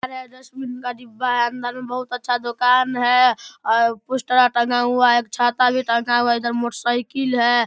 Dustbin वाला डिब्बा हेय अंदर में बहुत अच्छा दुकान हेय और पोस्टर आर टंगा हुआ हेय एक छाता भी टंगा हुआ हेय इधर मोटरसाइकिल हेय ।